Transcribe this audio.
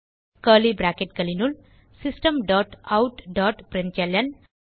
curly bracketகளினுள் system dot out dot println